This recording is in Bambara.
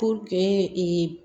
Puruke ee